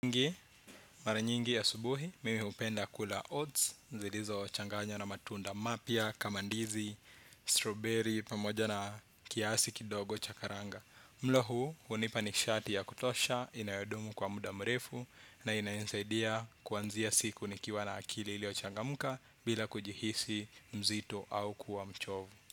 Ngi, mara nyingi asubuhi mimi hupenda kula oats zilizochanganywa na matunda mapya kama ndizi, strawberry, pamoja na kiasi kidogo cha karanga mlo huu hunipa nishati ya kutosha inayodumu kwa muda mrefu na inayonisaidia kuanzia siku nikiwa na akili iliyochangamka bila kujihisi mzito au kuwa mchovu.